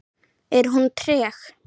Er hún treg?